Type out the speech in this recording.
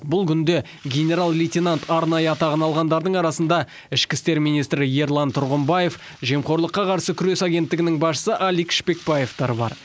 бұл күнде генерал лейтенант арнайы атағын алғандардың арасында ішкі істер министрі ерлан тұрғынбаев жемқорлыққа қарсы күрес агенттігінің басшысы алик шпекбаевтар бар